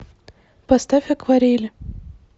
поставь акварели